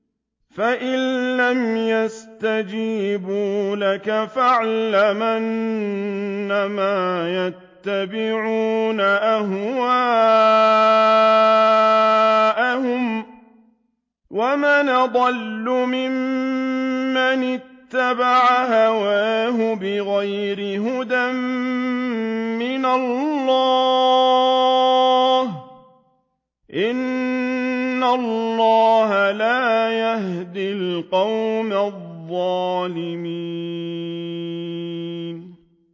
فَإِن لَّمْ يَسْتَجِيبُوا لَكَ فَاعْلَمْ أَنَّمَا يَتَّبِعُونَ أَهْوَاءَهُمْ ۚ وَمَنْ أَضَلُّ مِمَّنِ اتَّبَعَ هَوَاهُ بِغَيْرِ هُدًى مِّنَ اللَّهِ ۚ إِنَّ اللَّهَ لَا يَهْدِي الْقَوْمَ الظَّالِمِينَ